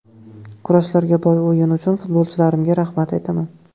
Kurashlarga boy o‘yin uchun futbolchilarimga rahmat aytaman.